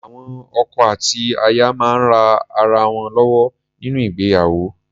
Awọn ọkọ àti àti aya máa ń rán ara wọn lọ́wọ́ nínú ìgbéyàwó.